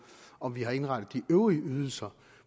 om vi har indrettet de øvrige ydelser